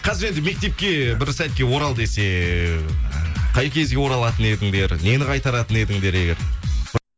қазір енді мектепке бір сәтке орал десе қай кезге оралатын едіңдер нені қайтаратын едіңдер егер